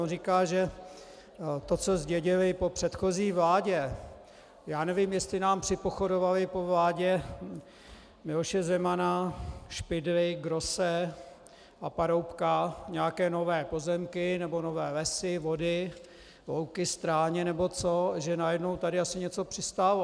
On říká, že to, co zdědili po předchozí vládě, já nevím, jestli nám připochodovaly po vládě Miloše Zemana, Špidly, Grosse a Paroubka nějaké nové pozemky nebo nové lesy, vody, louky, stráně nebo co, že najednou tady asi něco přistálo.